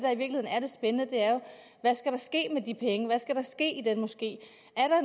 spændende er jo hvad skal der ske med de penge hvad skal der ske i den moské